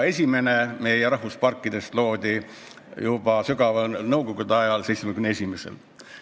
Esimene meie rahvusparkidest loodi juba sügaval nõukogude ajal, aastal 1971.